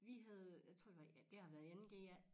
Vi havde jeg tror det var i det har været i 2. g ja